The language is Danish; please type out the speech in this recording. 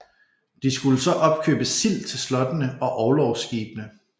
De skulle så opkøbe sild til slottene og orlogsskibene